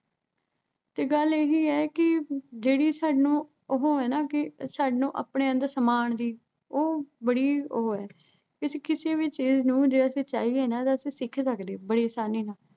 ਤੇ ਗੱਲ ਉਹੋ ਆ ਨਾ ਅਹ ਜਿਹੜੀ ਸਾਨੂੰ ਉਹੋ ਆ, ਆਪਣੇ ਅੰਦਰ ਸਮਾਉਣ ਦੀ, ਉਹ ਬੜੀ ਉਹੋ ਆ। ਕਿਉਂਕਿ ਕਿਸੇ ਵੀ ਚੀਜ਼ ਨੂੰ ਜੇ ਅਸੀਂ ਚਾਹੀਏ ਨਾ ਤਾਂ ਅਸੀਂ ਸਿੱਖ ਸਕਦੇ ਆਂ ਬੜੀਂ ਆਸਾਨੀ ਨਾਲ